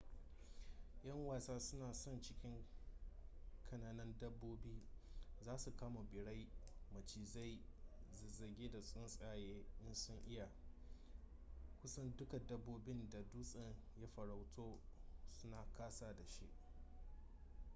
'yan wasa suna son cin kananan dabbobi za su kama birai macizai zazzage da tsuntsaye in sun iya kusan dukkan dabbobin da dutsen ya farauto suna ƙasa da shi